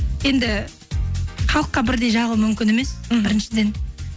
енді халыққа бірдей жағу мүмкін емес мхм біріншіден